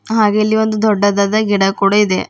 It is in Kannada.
ಹಾಗೆ ಇಲ್ಲಿ ದೊಡ್ಡದಾದ ಒಂದು ಗಿಡ ಕೂಡ ಇದೆ.